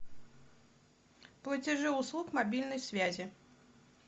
платежи услуг мобильной связи